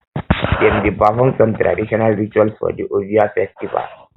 dem dey perform some traditional rituals for di ovia festival